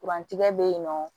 Kurantigɛ bɛ yen nɔ